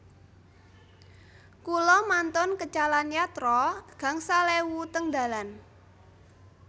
Kula mantun kecalan yatra gangsal ewu teng dalan